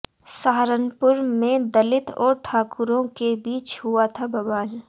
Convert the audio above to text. सहारनपुर में दलित और ठाकुरों के बीच हुआ था बवाल